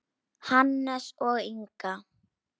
Hannes og Inga.